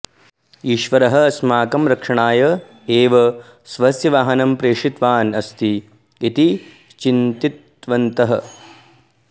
ईश्वरः अस्माकं रक्षणाय एव स्वस्य वाहनं प्रेषितवान् अस्ति इति चिन्तितवन्तः